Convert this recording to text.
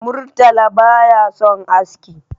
Murtala ba ya son aski